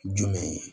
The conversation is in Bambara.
Jumɛn ye